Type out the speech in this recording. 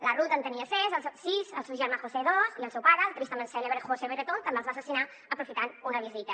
la ruth en tenia sis el seu germà josé dos i el seu pare el tristament cèlebre josé bretón també els va assassinar aprofitant una visita